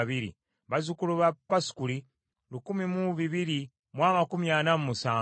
bazzukulu ba Pasukuli lukumi mu bibiri mu amakumi ana mu musanvu (1,247),